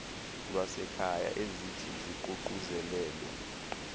lwasekhaya ezithi ziququzelelwe